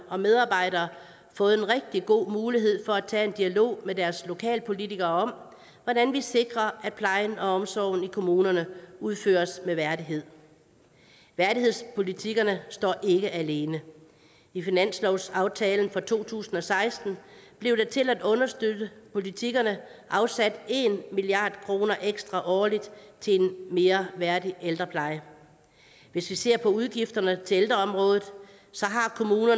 og medarbejdere fået en rigtig god mulighed for at tage en dialog med deres lokalpolitikere om hvordan vi sikrer at plejen og omsorgen i kommunerne udføres med værdighed værdighedspolitikkerne står ikke alene i finanslovsaftalen for to tusind og seksten blev der til at understøtte politikkerne afsat en milliard kroner ekstra årligt til en mere værdig ældrepleje hvis vi ser på udgifterne til ældreområdet